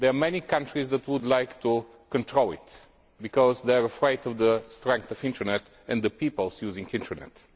There are many countries that would like to control it because they are afraid of the strength of internet and the people using internet.